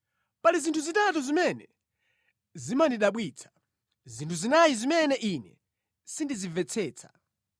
Pali zinthu zitatu zimene zimandidabwitsa, zinthu zinayi zimene ine sindizimvetsetsa.